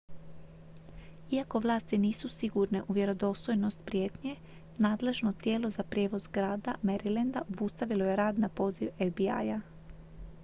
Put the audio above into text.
iako vlasti nisu sigurne u vjerodostojnost prijetnje nadležno tijelo za prijevoz grada marylanda obustavilo je rad na poziv fbi-a